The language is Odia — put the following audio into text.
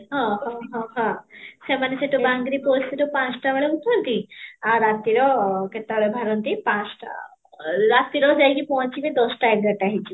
ହଁ, ହଁ, ହଁ ସେମାନେ ସେଠୁ ବାଙ୍ଗରି ରୁ ପାଞ୍ଚଟା ବେଳେ ଉଠନ୍ତି ଆଉ ରାତିର କେତେ ବେଳେ ବାହାରଟି, ପାଞ୍ଚଟା, ରାତି ରେ ଯାଇକି ପହଞ୍ଚିବେ ଦଶଟା ଏଗାରଟା ହେଇକି